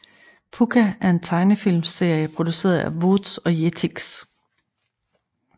Pucca er en tegnefilmserie produceret af Vooz og Jetix